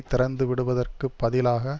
திறந்து விடுவதற்கு பதிலாக